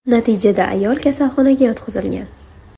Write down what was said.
Natijada ayol kasalxonaga yotqizilgan.